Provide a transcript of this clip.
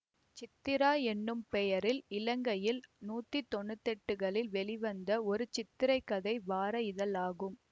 சித்திரா எனும் பெயரில் இலங்கையில் நூத்தி தொன்னூத்தெட்டுகளில் வெளிவந்த ஒரு சித்திரக்கதை வார இதழாகும்